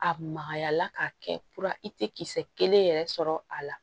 A magaya la k'a kɛ i tɛ kisɛ kelen yɛrɛ sɔrɔ a la